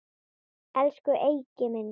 Elsku Eiki minn.